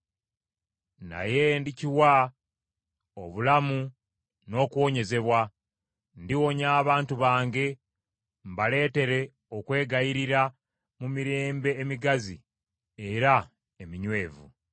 “ ‘Naye ndikiwa obulamu n’okuwonyezebwa; ndiwonya abantu bange, mbaleetere okweyagalira mu mirembe emigazi era eminywevu.